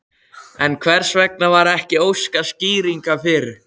En hvers vegna var ekki óskað skýringa fyrr?